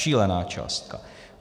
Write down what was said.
Šílená částka.